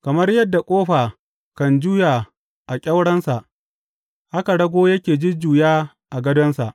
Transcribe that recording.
Kamar yadda ƙofa kan juya a ƙyaurensa, haka rago yake jujjuya a gadonsa.